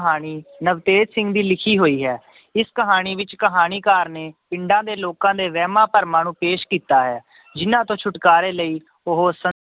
ਕਹਾਣੀ ਨਵਤੇਜ ਸਿੰਘ ਦੀ ਲਿਖੀ ਹੋਈ ਹੈ ਇਸ ਕਹਾਣੀ ਵਿੱਚ ਕਹਾਣੀਕਾਰ ਨੇ ਪਿੰਡਾਂ ਦੇ ਲੋਕਾਂ ਦੇ ਵਹਿਮਾਂ ਭਰਮਾਂ ਨੂੰ ਪੇਸ਼ ਕੀਤਾ ਹੈ ਜਿੰਨਾਂ ਤੋਂ ਛੁਟਕਾਰੇ ਲਈ ਉਹ ਸ